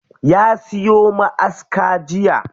Ya siyo ma'aska jiya.